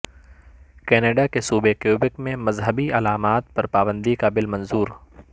Canada کے صوبے Quebec میں مذہبی علامات پر پابندی کا بل منظور